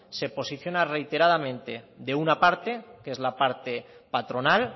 se posiciona reiteradamente de una parte que es la parte patronal